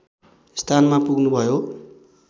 स्थानमा पुग्नुभयो